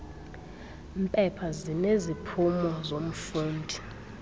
mpepha zineziphumo zomfundi